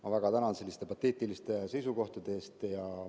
Ma väga tänan selliste pateetiliste seisukohtade eest.